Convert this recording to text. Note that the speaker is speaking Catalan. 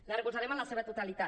la recolzarem en la seva totalitat